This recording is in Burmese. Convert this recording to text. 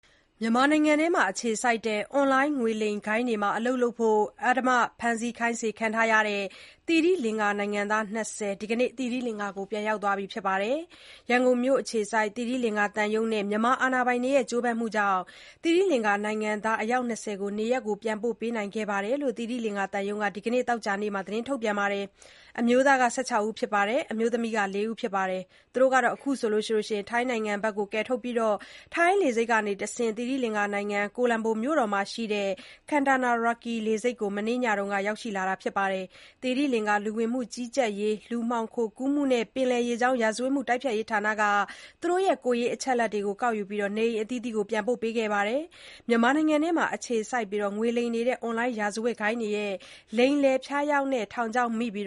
မြန်မာနိုင်ငံထဲမှာ အခြေစိုက်တဲ့ အွန်လိုင်းငွေလိမ်ဂိုဏ်းတွေမှာ အလုပ်လုပ်ဖို့ အဓမ္မ ဖမ်းဆီး ခိုင်းစေခံနေရတဲ့ သီရိလင်္ကာနိုင်ငံသား ၂၀ ဒီနေ့ သိရိလင်္ကာကို ပြန်ရောက်သွားကြပါပြီ။ ရန်ကုန်မြို့က သီရိလင်္ကာသံရုံးနဲ့ မြန်မာတာဝန်ရှိသူတွေရဲ့ ကြိုးပမ်းမှုနဲ့ နိုင်ငံသား အယောက် ၂၀ ကို နေရပ်ပြန်ပို့နိုင်ခဲ့တယ်လို့ သီရိလင်္ကာသံရုံးက ဒီနေ့ သောကြာနေ့မှာ ထုတ်ပြန်ထားပါတယ်။ အမျိုးသား ၁၆ ဦးနဲ့ အမျိုးသမီး ၄ ဦးတို့ ပြန်ရောက်လာကြတယ်လို့ သီရိလင်္ကာသတင်းတွေမှာ ဖော်ပြပါတယ်။ သူတို့ကို ထိုင်းနိုင်ငံဘက်ကယ်ထုတ်ပြီး ထိုင်းလေဆိပ်ကတဆင့် သိရိလင်္ကာနိုင်ငံ ကိုလံဘိုမြို့တော်မှာရှိတဲ့ Katunayake လေဆိပ်ကို မနေ့ညက ရောက်ရှိလာကြတယ်လို့ သတင်းတွေမှာ ဖော်ပြပါတယ်။ သီရိလင်္ကာ လူဝင်မှုကြီးကြပ်ရေး၊ လူမှောင်ခိုကူးမှုနဲ့ ပင်လယ်ရေကြောင်း ရာဇဝတ်မှုတိုက်ဖျက်ရေးဌာက သူတို့ရဲ့ ကိုယ်ရေးအချက်အလက်တွေ ကောက်ယူပြီးတဲ့နောက် နေအိမ်အသီးသီးကို ပြန်ပို့ပေးခဲ့တာဖြစ်ပါတယ်။ မြန်မာနိုင်ငံထဲမှာ အခြေစိုက်ငွေလိမ်နေတဲ့ အွန်လိုင်းရာဇဝတ်ဂိုဏ်းတွေရဲ့ လိမ်လည်ဖျားယောင်တဲ့ ထောင်ချောက်မိပြီး